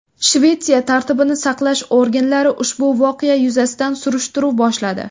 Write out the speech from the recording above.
Shvetsiya tartibni saqlash organlari ushbu voqea yuzasidan surishtiruv boshladi.